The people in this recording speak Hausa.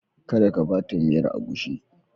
Kada ka ba ta miyar agushi.